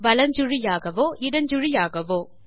வலஞ்சுழியாகவோ இடஞ்சுழியாகவோ